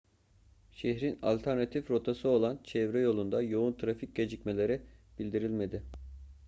şehrin alternatif rotası olan çevre yolunda yoğun trafik gecikmeleri bildirilmedi